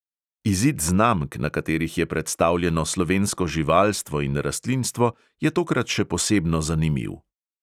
Izid znamk, na katerih je predstavljeno slovensko živalstvo in rastlinstvo, je tokrat še posebno zanimiv.